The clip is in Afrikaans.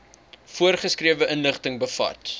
voorgeskrewe inligting bevat